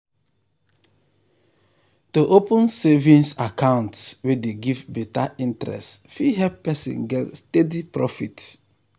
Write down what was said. to open savings account wey dey give better interest fit help person get steady profit.